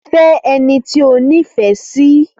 Fẹ́ ẹni tí o nífẹ̀ẹ́ sí!